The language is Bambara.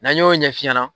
N'an y'o ɲɛf'i ɲɛna